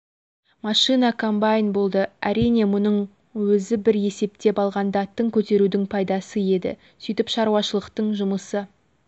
машина комбайн болды әрине мұның өзі бір есептен алғанда тың көтерудің пайдасы еді сөйтіп шаруашылықтың жұмысы